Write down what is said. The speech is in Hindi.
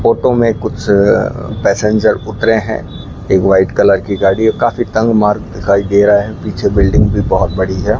फोटो में कुछ अ पैसेंजर उतरे है एक वाइट कलर की गाड़ी है काफी तंग मार्ग दिखाई दे रहा है पीछे बिल्डिंग भी बहोत बड़ी है।